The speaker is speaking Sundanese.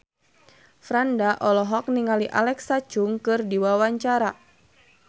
Franda olohok ningali Alexa Chung keur diwawancara